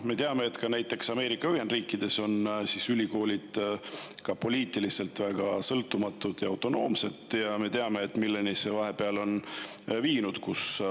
Me teame, et ka näiteks Ameerika Ühendriikides on ülikoolid poliitiliselt väga sõltumatud ja autonoomsed, ja me teame, milleni see vahepeal on viinud.